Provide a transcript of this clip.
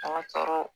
Ka kɔrɔ